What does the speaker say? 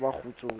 ha ba le kgutso ka